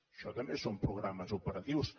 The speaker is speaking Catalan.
això també són programes operatius